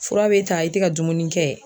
Fura be ta i tɛ ka dumuni kɛ